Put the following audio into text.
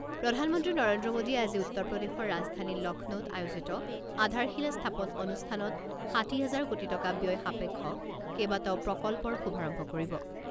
প্ৰধানমন্ত্ৰী নৰেন্দ্ৰ মোডীয়ে আজি উত্তৰ প্ৰদেশৰ ৰাজধানী লক্ষ্ণৌত আয়োজিত আধাৰশিলা স্থাপন অনুষ্ঠানত ষাঠি হাজাৰ কোটি টকা ব্যয় সাপেক্ষ কেইবাটাও প্ৰকল্পৰ শুভাৰম্ভ কৰিব।